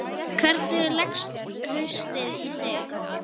Hvernig leggst haustið í þig?